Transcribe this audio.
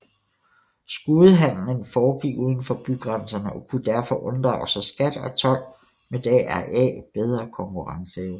Skudehandelen foregik udenfor bygrænserne og kunne derfor unddrage sig skat og told med deraf bedre konkurrenceevne